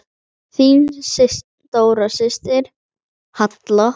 Þín stóra systir, Halla.